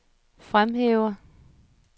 fremhæver